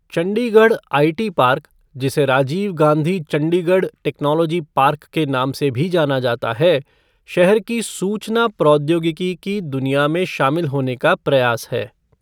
Chandigarh IT park, जिसे Rajiv Gandhi Chandigarh technology park के नाम से भी जाना जाता है, शहर की सूचना प्रौद्योगिकी की दुनिया में शामिल होने का प्रयास है।